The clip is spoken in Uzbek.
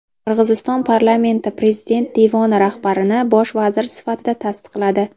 Qirg‘iziston parlamenti prezident devoni rahbarini bosh vazir sifatida tasdiqladi.